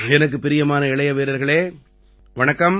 எனக்குப் பிரியமான இளைய வீரர்களே வணக்கம்